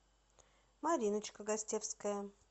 мариночка гостевская